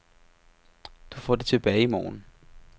Du får det tilbage i morgen.